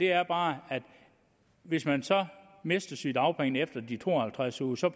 er bare at hvis man mister sygedagpengene efter de to og halvtreds uger så